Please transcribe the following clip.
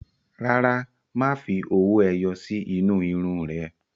Rárá, má fi owó ẹyọ sí inú irun ún rẹ